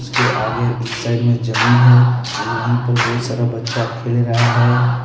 उसके आगे इस साइड में जमीन हैं वहीं पे बहुत सारा बच्चा खेल रहा हैं ।